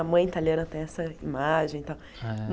A mãe italiana tem essa imagem e tal. É